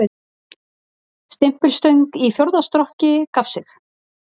Stimpilstöng í fjórða strokki gaf sig